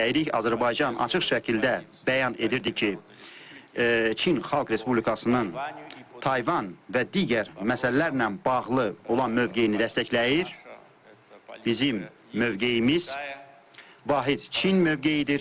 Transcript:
Azərbaycan açıq şəkildə bəyan edirdi ki, Çin Xalq Respublikasının Tayvan və digər məsələlərlə bağlı olan mövqeyini dəstəkləyir, bizim mövqeyimiz vahid Çin mövqeyidir.